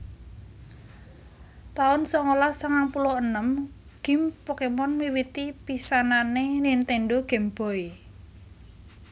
taun songolas sangang puluh enem Gim Pokémon miwiti pisanané Nintendo Game Boy